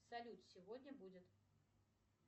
салют сегодня будет